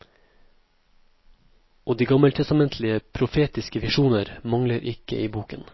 Og de gammeltestamentlige, profetiske visjoner mangler ikke i boken.